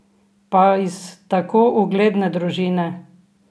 Pa iz tako ugledne družine!